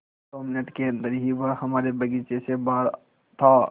दो मिनट के अन्दर ही वह हमारे बगीचे से बाहर था